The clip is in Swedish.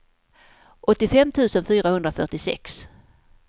åttiofem tusen fyrahundrafyrtiosex